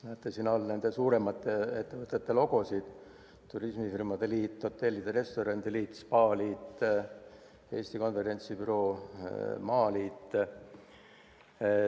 Näete siin all neist suuremate logosid: Eesti Turismifirmade Liit, Eesti Hotellide ja Restoranide Liit, Eesti Spaaliit, Eesti Konverentsibüroo, MTÜ Eesti Maaturism.